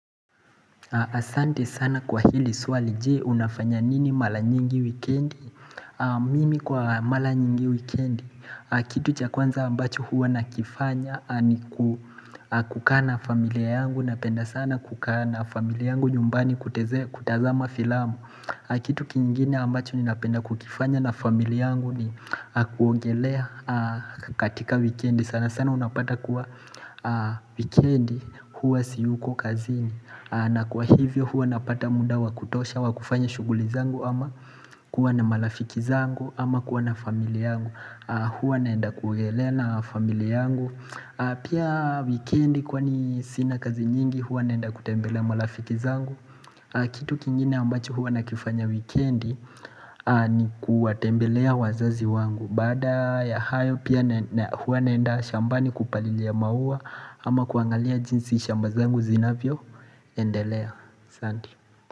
Asante sana kwa hili swali jee unafanya nini mala nyingi weekendi Mimi kwa mala nyingi weekendi Kitu chakwanza ambacho huwa nakifanya ni kukaa na familia yangu Napenda sana kukaa na familia yangu nyumbani kutazama filamu Kitu kingine ambacho ninapenda kukifanya na familia yangu ni kuongelea katika weekendi sana sana unapata kuwa weekendi huwa siyuko kazini na kwa hivyo huwa napata muda wakutosha wakufanya shuguli zangu ama kuwa na malafiki zangu ama kuwa na familia yangu Huwa naenda kuogelea na familia yangu Pia weekendi kwa ni sina kazi nyingi huwa naenda kutembelea malafiki zangu Kitu kingine ambacho huwa na kifanya weekendi ni kuwatembelea wazazi wangu Baada ya hayo pia huwa naenda shambani kupalilia maua ama kuangalia jinsi shambazangu zinavyo eNdelea asanti.